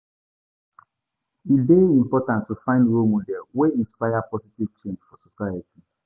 E dey important to find role models wey inspire positive change for society.